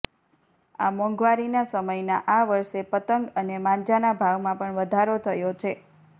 આ મોંઘવારીના સમયના આ વર્ષે પતંગ અને માંજાના ભાવમાં પણ વધારો થયો છે